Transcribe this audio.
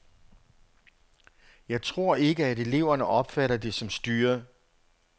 Jeg tror ikke, at eleverne opfatter det som styret.